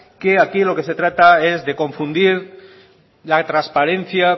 que aquí lo que se trata es de confundir la transparencia